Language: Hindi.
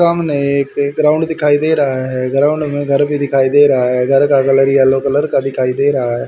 सामने एक ग्राउंड दिखाई दे रहा है ग्राउंड में घर भी दिखाई दे रहा है घर का कलर येलो कलर का दिखाई दे रहा है।